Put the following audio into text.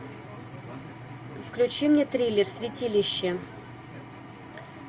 включи мне триллер святилище